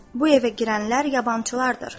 Bu evə girənlər yabancılardır.